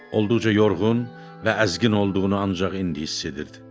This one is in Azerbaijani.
Olduqca yorğun və əzgin olduğunu ancaq indi hiss edirdi.